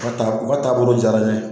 U ka taa u ka taabolo diyara ne ye